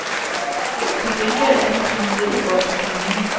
Til gengæld er den kriminelle vold stigende.